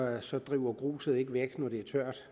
så driver gruset ikke væk når det